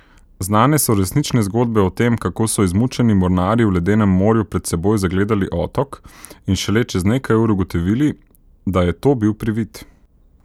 Znane so resnične zgodbe o tem, kako so izmučeni mornarji v ledenem morju pred seboj zagledali otok in šele čez nekaj ur ugotovili, da je to bil privid.